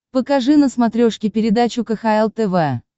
покажи на смотрешке передачу кхл тв